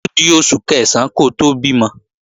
Ódi oṣù Kẹ̀sán kó tó bímọ